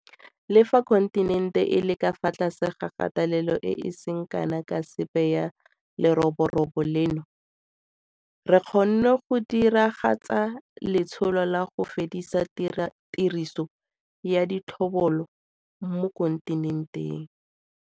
Le fa kontinente e le ka fa tlase ga kgatelelo e e seng kana ka sepe ya leroborobo leno, re kgonne go diragatsa letsholo la 'go fedisa tiriso ya ditlhobolo' mo kontinenteng.